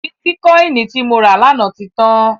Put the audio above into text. Bítíkọìnì tí mo rà lánàá ti tán.